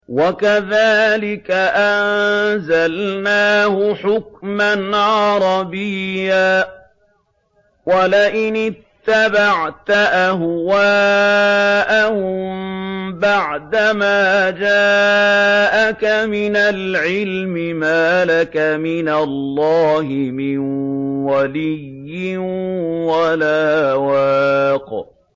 وَكَذَٰلِكَ أَنزَلْنَاهُ حُكْمًا عَرَبِيًّا ۚ وَلَئِنِ اتَّبَعْتَ أَهْوَاءَهُم بَعْدَمَا جَاءَكَ مِنَ الْعِلْمِ مَا لَكَ مِنَ اللَّهِ مِن وَلِيٍّ وَلَا وَاقٍ